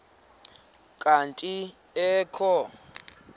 kanti ee kho